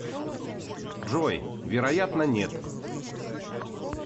джой вероятно нет